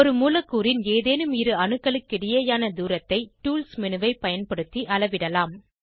ஒரு மூலக்கூறின் ஏதேனும் இரு அணுக்களுக்கிடையேயான தூரத்தை டூல்ஸ் மேனு ஐ பயன்படுத்தி அளவிடலாம்